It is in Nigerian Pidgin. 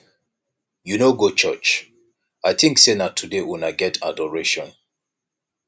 you no go churuch i think say na today una get adoration